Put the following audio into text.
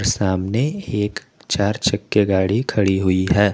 सामने एक चार चक्के गाड़ी खड़ी हुई है।